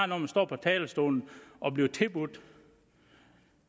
når man står på talerstolen og bliver tilbudt